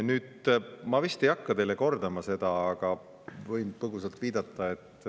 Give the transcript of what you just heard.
Nüüd, ma vist ei hakka teile kordama seda, aga võin põgusalt viidata.